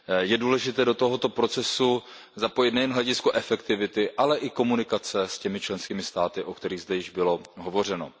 Je důležité do tohoto procesu zapojit nejen hledisko efektivity, ale i komunikace s těmi členskými státy, o kterých zde již bylo hovořeno.